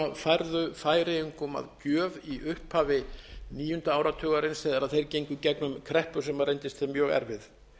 færðu færeyingum að gjöf í upphafi níunda áratugarins þegar þeir gengu í gegnum kreppu sem reyndist þeim mjög erfið